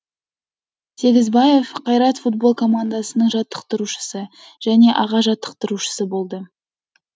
сегізбаев қайрат футбол командасының жаттықтырушысы және аға жаттықтырушысы болды